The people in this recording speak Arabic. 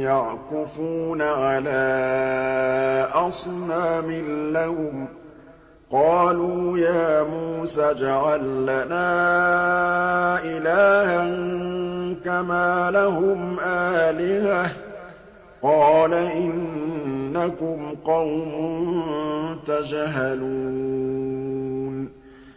يَعْكُفُونَ عَلَىٰ أَصْنَامٍ لَّهُمْ ۚ قَالُوا يَا مُوسَى اجْعَل لَّنَا إِلَٰهًا كَمَا لَهُمْ آلِهَةٌ ۚ قَالَ إِنَّكُمْ قَوْمٌ تَجْهَلُونَ